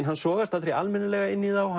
hann sogast aldrei almennilega inn í þá